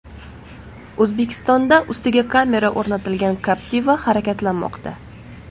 O‘zbekistonda ustiga kamera o‘rnatilgan Captiva harakatlanmoqda.